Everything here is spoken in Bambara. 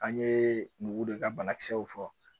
An ye nugu de ka banakisɛw fɔ